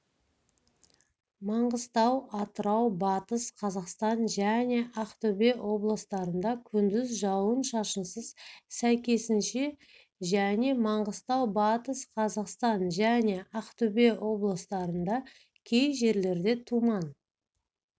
маңғыстау атырау батыс қазақстан және ақтөбе облыстарында күндіз жауын-шашынсыз сәйкесінше және маңғыстау батыс қазақстан және ақтөбе облыстарында кей жерлерде тұман